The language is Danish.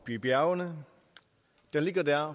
i bjergene den ligger der